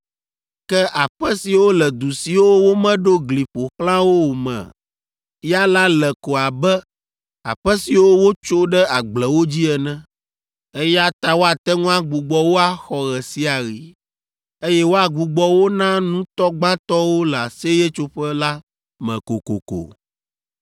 Ke aƒe siwo le du siwo womeɖo gli ƒo xlã o me ya la le ko abe aƒe siwo wotso ɖe agblewo dzi ene, eya ta woate ŋu agbugbɔ wo axɔ ɣe sia ɣi, eye woagbugbɔ wo na nutɔ gbãtɔwo le Aseyetsoƒe la me kokoko.